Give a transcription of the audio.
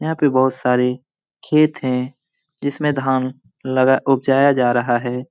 यहां पे बहुत सारे खेत है जिसमें धान लगा उपजाया जा रहा है।